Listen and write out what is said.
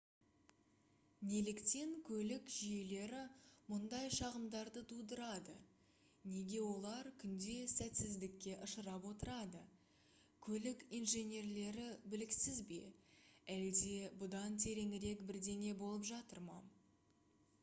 неліктен көлік жүйелері мұндай шағымдарды тудырады неге олар күнде сәтсіздікке ұшырап отырады көлік инженерлері біліксіз бе әлде бұдан тереңірек бірдеңе болып жатыр ма